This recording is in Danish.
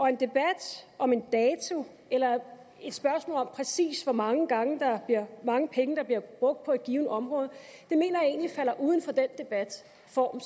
en debat om en dato eller et spørgsmål om præcis hvor mange penge der bliver brugt på et givent område mener jeg egentlig falder uden for den debatform